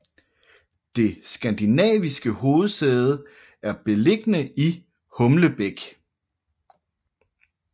Det skandinaviske hovedsæde er beliggende i Humlebæk